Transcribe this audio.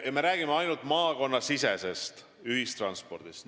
Me räägime ainult maakonnasisesest ühistranspordist.